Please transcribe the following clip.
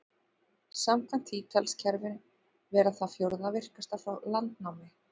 Samkvæmt því telst kerfið vera það fjórða virkasta frá landnámi.